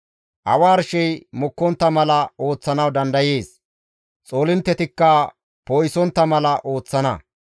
Awa arshey mokkontta mala ooththanawu dandayees; Xoolinttetikka poo7isontta mala ooththana.